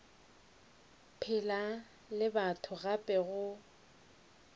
phela le batho gape go